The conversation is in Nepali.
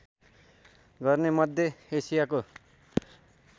गर्ने मध्य एसियाको